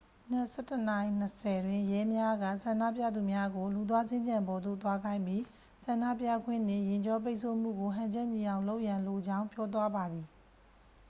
မနက် 11:20 တွင် ရဲများက ဆန္ဒပြသူများကို လူသွားစင်္ကြံပေါ်သို့ သွားခိုင်းပြီး ဆန္ဒပြခွင့်နှင့် ယာဉ်ကြောပိတ်ဆို့မှုကို ဟန်ချက်ညီအောင်လုပ်ရန်လိုကြောင်း ပြောသွားပါသည်